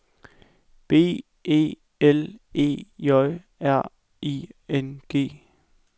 B E L E J R I N G